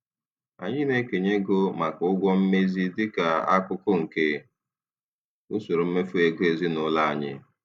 Anyị na-ekenye ego maka ụgwọ mmezi dịka akụkụ nke usoro mmefu ego ezinụlọ anyị.